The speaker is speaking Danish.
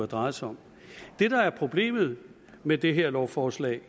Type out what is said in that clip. drejet sig om det der er problemet med det her lovforslag